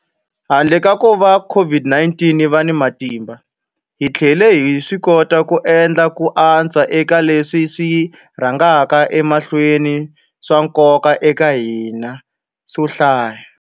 Handle ka kuva COVID-19 yi va na matimba, hi tlhele hi swikota ku endla ku antswa eka leswi swi rhangaka emahlweni swa nkoka eka hina swo hlaya.